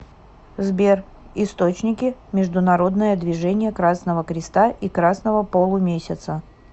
сбер источники международное движение красного креста и красного полумесяца